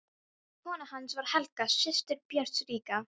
Kona hans var Helga, systir Björns ríka.